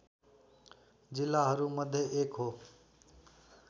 जिल्लाहरूमध्ये एक हो